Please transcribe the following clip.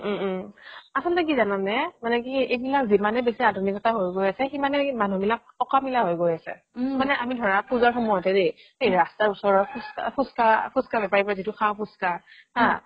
উম উম আচলতে কি জানা নে মানে কি এইবিলাক যিমানে আধুনিকতা হৈ গৈ আছে সিমানে মানুহ বিলাক অকামিলা হৈ গৈ আছে আমি ধৰা পুজাৰ সময়তে দেই সেই ৰাস্তাৰ ওচৰৰ ফুচকা ফুচকা ফুচকা বেপাৰিৰ পৰা যিতো খাও ফুচকা হা